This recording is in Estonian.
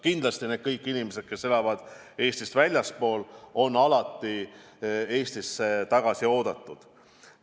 Kindlasti kõik meie inimesed, kes elavad Eestist väljaspool, on alati Eestisse tagasi oodatud.